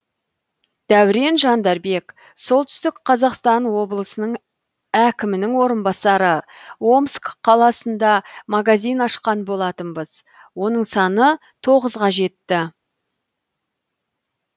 дәурен жандарбек солтүстік қазақстан облысының әкімінің орынбасары омск қаласында магазин ашқан болатынбыз оның саны тоғызға жетті